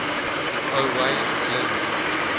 owain glynd